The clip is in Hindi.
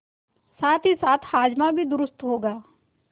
साथहीसाथ हाजमा भी दुरूस्त होगा